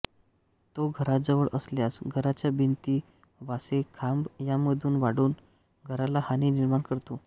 तो घराजवळ असल्यास घराच्या भिंती वासे खांब यांमधे वाढून घराला हानी निर्माण करतो